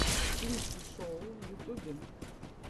сливки шоу в ютубе